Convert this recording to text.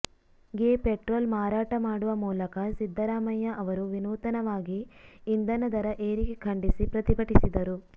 ಗೆ ಪೆಟ್ರೋಲ್ ಮಾರಾಟ ಮಾಡುವ ಮೂಲಕ ಸಿದ್ದರಾಮಯ್ಯ ಅವರು ವಿನೂತನವಾಗಿ ಇಂದನ ದರ ಏರಿಕೆ ಖಂಡಿಸಿ ಪ್ರತಿಭಟಿಸಿದರು